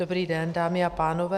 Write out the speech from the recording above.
Dobrý den, dámy a pánové.